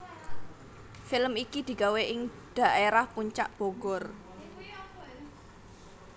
Film iki digawe ing dhaerah Puncak Bogor